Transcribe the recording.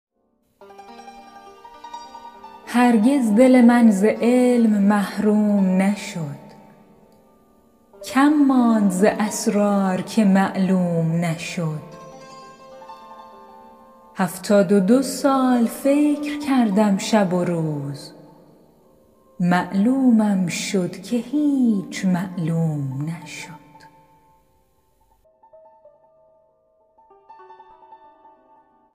هرگز دل من ز علم محروم نشد کم ماند ز اسرار که معلوم نشد هفتاد و دو سال فکر کردم شب و روز معلومم شد که هیچ معلوم نشد